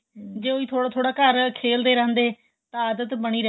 ਜ਼ੇ ਹੋਈ ਥੋੜਾ ਥੋੜਾ ਘਰ ਖੇਲਦੇ ਰਹਿੰਦੇ ਤਾਂ ਆਦਤ ਬਣੀ ਰਹਿੰਦੀ